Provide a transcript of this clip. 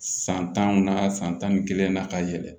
San tanw na san tan ni kelen na ka yɛlɛ